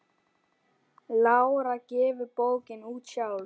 Lára gefur bókina út sjálf.